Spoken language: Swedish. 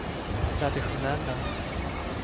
traditionella